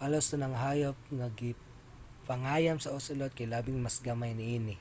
halos tanang hayop nga ginapangayam sa ocelot kay labing mas gamay niini